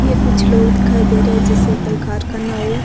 ये कुछ लोग दिखाई दे रहे है जैसे कोई कारखाना हो।